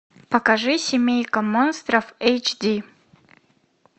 покажи семейка монстров эйч ди